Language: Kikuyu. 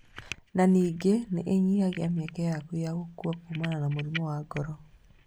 Na ningĩ nĩinyihagia mĩeke yaku ya gũkua kumana na mũrimũ wa ngoro